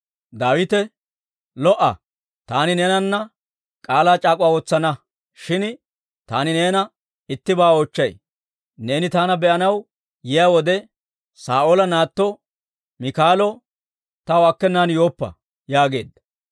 Daawite, «Lo"o! Taani neenana k'aalaa c'aak'uwaa wotsana. Shin taani neena ittibaa oochchay; neeni taana be'anaw yiyaa wode, Saa'oola naatto Miikaalo taw akkenan yooppa» yaageedda.